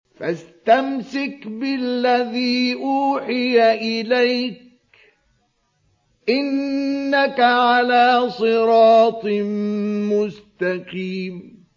فَاسْتَمْسِكْ بِالَّذِي أُوحِيَ إِلَيْكَ ۖ إِنَّكَ عَلَىٰ صِرَاطٍ مُّسْتَقِيمٍ